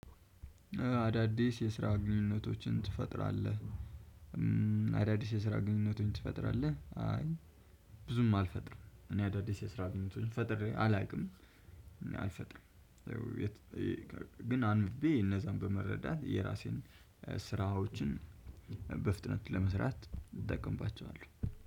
አዳዲስ የስራ ግንኙነቶችን ትፈጥራለህ አዳዲስ የስራ ግንኙነቶችን ትፈጥራለህ? አይ ብዙም አልፈጥርም እኔ አዳዲስ የስራ ግንኙነቶችን ፈጥሬ አላውቅም እኔ አልፈጥርም። ግን አንብቤ እነዛን በመረዳት የራሴን ስራዎችን በፍጥነት ለመስራት እጠቀምባቸዋለሁ